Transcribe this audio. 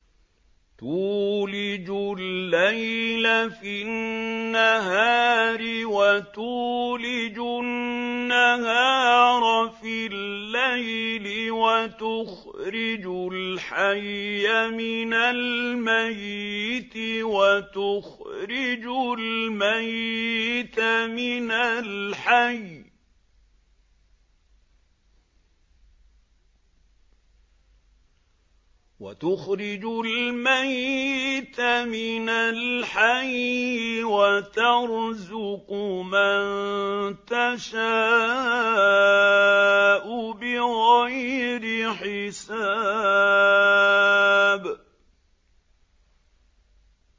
تُولِجُ اللَّيْلَ فِي النَّهَارِ وَتُولِجُ النَّهَارَ فِي اللَّيْلِ ۖ وَتُخْرِجُ الْحَيَّ مِنَ الْمَيِّتِ وَتُخْرِجُ الْمَيِّتَ مِنَ الْحَيِّ ۖ وَتَرْزُقُ مَن تَشَاءُ بِغَيْرِ حِسَابٍ